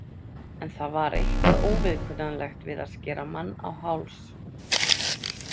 En það var eitthvað óviðkunnanlegt við að skera mann á háls.